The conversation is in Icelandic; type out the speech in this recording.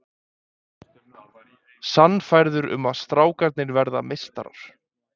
Sannfærður um að strákarnir verði meistarar